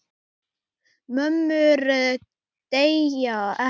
Mömmur deyja ekki.